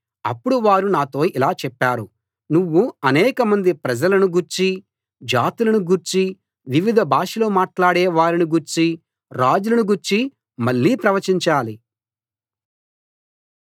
అప్పుడు వారు నాతో ఇలా చెప్పారు నువ్వు అనేకమంది ప్రజలను గూర్చీ జాతులను గూర్చీ వివిధ భాషలు మాట్లాడే వారిని గూర్చీ రాజులను గూర్చీ మళ్ళీ ప్రవచించాలి